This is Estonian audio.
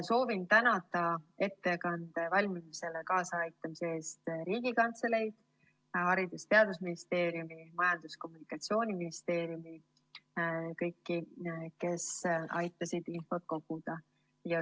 Soovin tänada ettekande valmimisele kaasaaitamise eest Riigikantseleid, Haridus‑ ja Teadusministeeriumi ning Majandus‑ ja Kommunikatsiooniministeeriumi – kõiki, kes aitasid infot koguda.